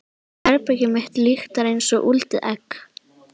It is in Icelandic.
Herbergið mitt lyktar einsog úldið egg.